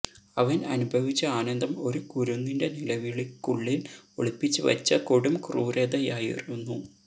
അവന് അനുഭവിച്ച ആനന്ദം ഒരു കുരുന്നിന്റെ നിലവിളിക്കുള്ളില് ഒളിപ്പിച്ച് വച്ച കൊടും ക്രൂരതയായിരുന്നു